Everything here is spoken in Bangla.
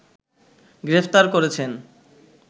গ্রেফতার করেছেন